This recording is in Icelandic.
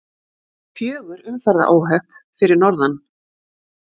Fjögur umferðaróhöpp fyrir norðan